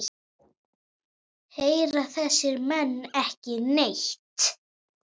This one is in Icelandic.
Heyra þessir menn ekki neitt?